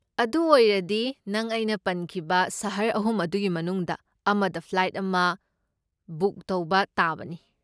ꯑꯗꯨ ꯑꯣꯏꯔꯗꯤ ꯅꯪ ꯑꯩꯅ ꯄꯟꯈꯤꯕ ꯁꯍꯔ ꯑꯍꯨꯝ ꯑꯗꯨꯒꯤ ꯃꯅꯨꯡꯗ ꯑꯃꯗ ꯐ꯭ꯂꯥꯏꯠ ꯑꯃ ꯕꯨꯛ ꯇꯧꯕ ꯇꯥꯕꯅꯤ꯫